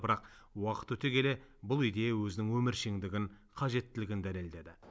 бірақ уақыт өте келе бұл идея өзінің өміршеңдігін қажеттілігін дәлелдеді